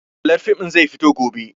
Tallar fim ɗin zai fito gobe